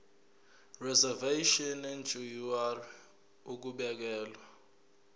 reservation ngur ukubekelwa